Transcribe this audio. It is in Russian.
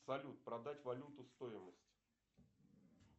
салют продать валюту стоимость